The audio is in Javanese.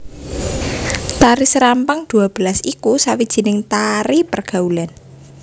Tari serampang dua belas iku sawijining tari pergaulan